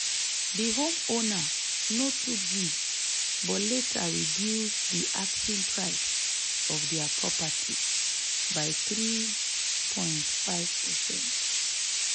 di homeowner no too gree but later reduce di asking price of dia property by 3.5%.